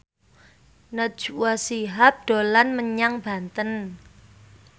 Najwa Shihab dolan menyang Banten